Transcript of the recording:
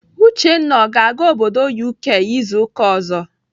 Uchenna ọ ga-aga obodo UK izu ụka ọzọ?